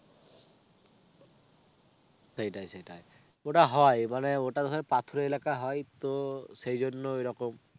সেটাই সেটাই ওটা হয় মানে ওটা হয় পাত্র এলাকা হয় তো সেই জন্য এই রকম.